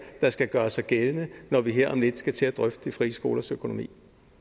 der skal gøre sig gældende når vi her om lidt skal til at drøfte frie skolers økonomi